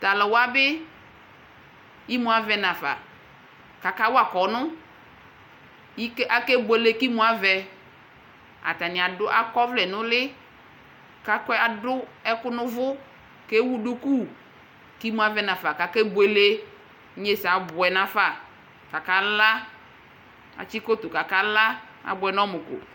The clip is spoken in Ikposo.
Tʋ alʋ wa bɩ imu avɛ nafa kʋ akawa kɔnʋ Ike akebuele kʋ imu avɛ Atanɩ adʋ akɔ ɔvlɛ nʋ ʋlɩ kʋ akɔ adʋ ɛkʋ nʋ ʋvʋ kʋ ewu duku kʋ imu avɛ nafa kʋ akebuele Inyesɛ abʋɛ nafa kʋ akala Atsɩ koto kʋ akala, abʋɛ nʋ ɔmʋ ko